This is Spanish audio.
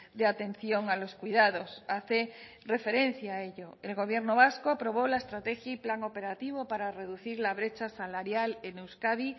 de atención a los cuidados hace referencia a ello el gobierno vasco aprobó la estrategia y plan operativo para reducir la brecha salarial en euskadi